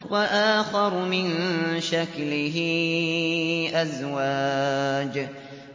وَآخَرُ مِن شَكْلِهِ أَزْوَاجٌ